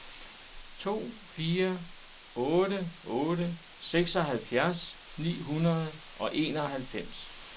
to fire otte otte seksoghalvfjerds ni hundrede og enoghalvfems